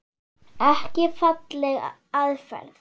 Ekki falleg aðferð.